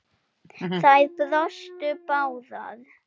Þær brostu báðar.